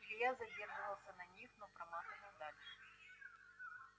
илья задерживался на них но проматывал дальше